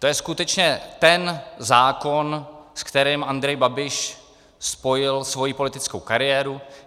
To je skutečně ten zákon, s kterým Andrej Babiš spojil svoji politickou kariéru.